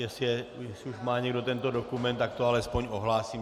Jestli už má někdo tento dokument, tak to alespoň ohlásím.